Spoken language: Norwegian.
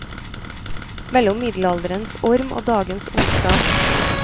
Mellom middelalderens orm og dagens ondskap.